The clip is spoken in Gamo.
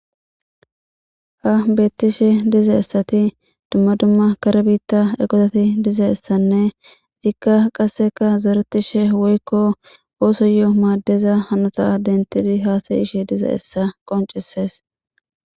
Ha beettishe dize essati dumma dumma kara biitta ekosati dize essanne dikka qasseka zeretishe woykko ooso yoo maaddeza hanota dentidi haasayishe dize essa qoncisees.